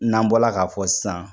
N'an bɔla k'a fɔ sisan